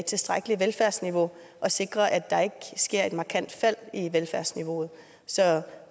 tilstrækkeligt velfærdsniveau og sikre at der ikke sker et markant fald i velfærdsniveauet så